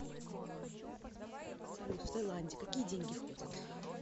салют в таиланде какие деньги ходят